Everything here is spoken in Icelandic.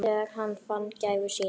Þegar hann fann gæfu sína.